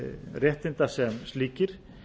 réttinda sem slíkir